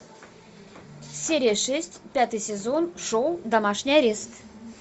серия шесть пятый сезон шоу домашний арест